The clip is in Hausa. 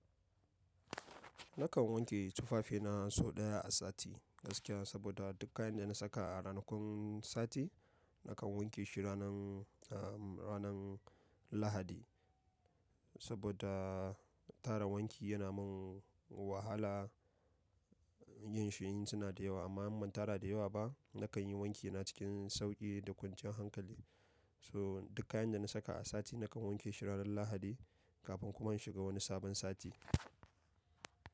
Nakan wanke tufafina sau ɗaya a sati gaskiya saboda duk kayan da na saka a ranakun sati nakan wanke shi ranan, ah, ranan lahadi. Saboda tara wanki yana mun wahala yin shi in suna da yawa amma in ban tara da yawa ba nakan yi wankina cikin sauƙi da kwanciyan hankali. So duk kayan da na saka a sati nakan wanke shi ranan lahadi kafin kuma in shiga wani sabon sati.